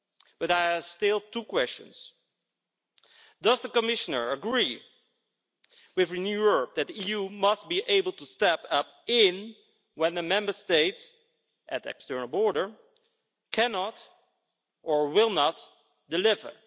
But I have still two questions does the Commissioner agree with Renew Europe that the EU must be able to step in when the Member States at external borders cannot or will not deliver?